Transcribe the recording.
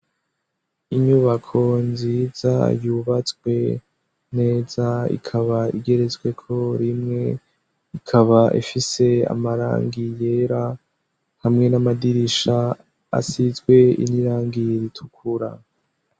Inyubako nziza yubatswe neza ikaba igerezweko rimwe ikaba ifise amarangi yera hamwe n'amadirisha asizwe inirangi ritukura.